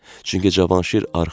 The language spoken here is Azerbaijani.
Çünki Cavanşir arxadır.